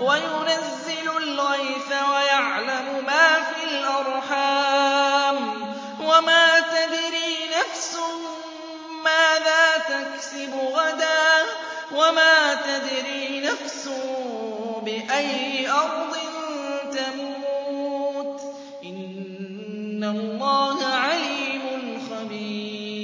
وَيُنَزِّلُ الْغَيْثَ وَيَعْلَمُ مَا فِي الْأَرْحَامِ ۖ وَمَا تَدْرِي نَفْسٌ مَّاذَا تَكْسِبُ غَدًا ۖ وَمَا تَدْرِي نَفْسٌ بِأَيِّ أَرْضٍ تَمُوتُ ۚ إِنَّ اللَّهَ عَلِيمٌ خَبِيرٌ